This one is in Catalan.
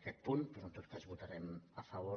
aquest punt però en tot cas hi votarem a favor